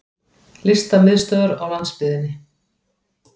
Listamiðstöðvar á landsbyggðinni!